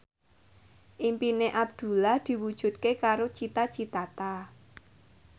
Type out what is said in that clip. impine Abdullah diwujudke karo Cita Citata